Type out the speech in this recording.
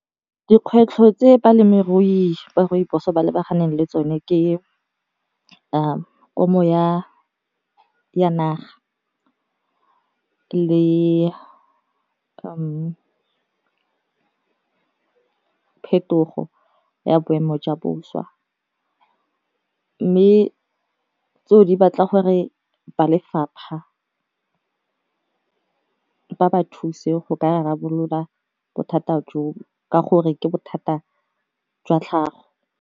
Dikgwetlho tse balemirui ba rooibos ba lebaganeng le tsone ke o mo ya naga le phetogo ya boemo jwa boswa, mme tseo di batla gore ba lefapha ba ba thuse go rarabolola bothata jo ka gore ke bothata jwa tlhago.